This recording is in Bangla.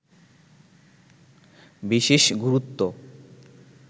বিশেষ গুরুত্ব